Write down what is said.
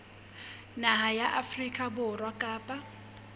naha ya afrika borwa kapa